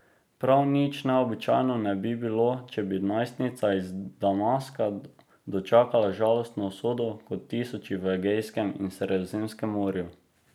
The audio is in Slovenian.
Prav nič neobičajno ne bi bilo, če bi najstnica iz Damaska dočakala žalostno usodo kot tisoči v Egejskem in Sredozemskem morju.